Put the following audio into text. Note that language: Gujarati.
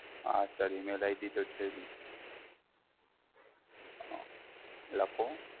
હા Sir email ID તો છે જ, અઃ લખો,